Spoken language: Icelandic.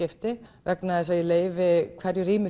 vegna þess að ég leyfi hverju rými